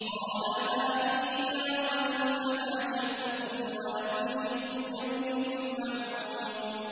قَالَ هَٰذِهِ نَاقَةٌ لَّهَا شِرْبٌ وَلَكُمْ شِرْبُ يَوْمٍ مَّعْلُومٍ